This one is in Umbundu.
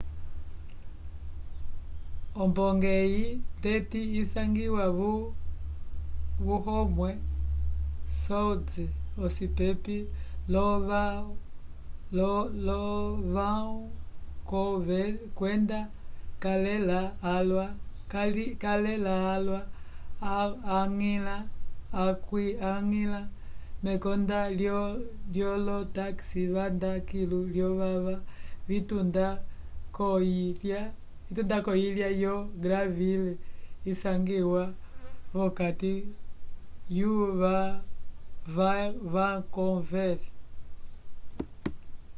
ombonge eyi ndeti isangiwa vo howe sound ocipepi lo vancouver kwenda calela calwa okwiñgila mekonda lyolo taxi vanda kilu lyovava vitunda k'oyilya yo granville isangiwa v'okati yo vancouver